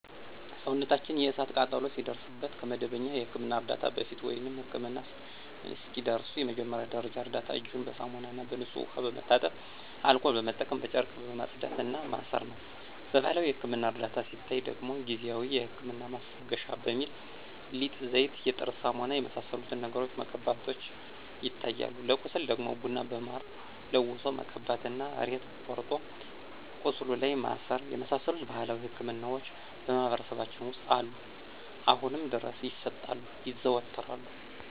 ሰውነታችን የእሳት ቃጠሎ ሲደርስበት ከመደበኛ የሕክምና ዕርዳታ በፊት፣ ወይም ህክምና እስኪደርሱ የመጀመሪያ ደረጃ እርዳታ እጅን በሳሙናና በንጹህ ውሃ በመታጠብ አልኮል በመጠቀም በጨርቅ ማጽዳት እና ማሰር ነው። በባህላዊ የህክምና እርዳታ ስናይ ደግሞ ጊዜአዊ የህመም ማስታገሻ በሚል ሊጥ፣ ዘይት፣ የጥርስ ሳሙና የመሳሰሉትን ነገሮችን መቀባቶች ይታያሉ። ለቁስል ደግሞ ቡና በማር ለውሶ መቀባት እና ሬት ቆርጦ ቁስሉ ላይ ማሰር የመሳሰሉት ባህላዊ ህክምናዎች በማህበረሰባችን ውስጥ አሁንም ድረስ ይሰጣሉ (ይዘወተራሉ)።